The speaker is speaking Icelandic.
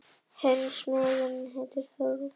Hinn smiðurinn heitir Þorvaldur.